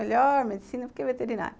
Melhor medicina porque veterinária.